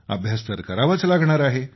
अभ्यास तर करावाच लागणार आहे